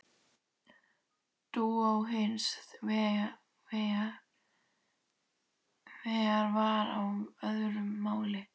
Dúa hins vegar var á öðru máli.